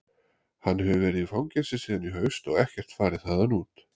Hann hefur verið í fangelsi síðan í haust og ekkert farið þaðan út.